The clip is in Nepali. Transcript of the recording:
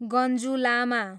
गञ्जु लामा